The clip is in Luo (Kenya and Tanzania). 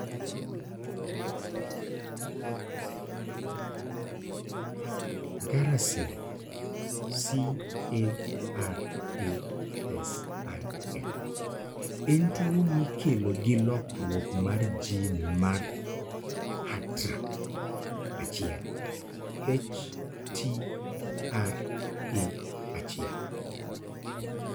CARASIL en tuwo mikelo gi lokruok mar gene mar HTRA1.